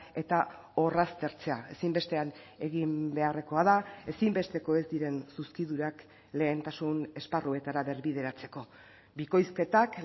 eta orraztertzea ezinbestean egin beharrekoa da ezinbesteko ez diren zuzkidurak lehentasun esparruetara berbideratzeko bikoizketak